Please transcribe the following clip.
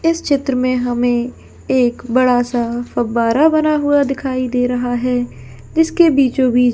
इस चित्र में हमे एक बड़ा सा फुवारा बना हुआ दिखाई दे रहा हैजिसके बीचो बीच--